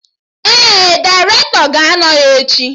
Ee, dairetọ ga-anọ ya echi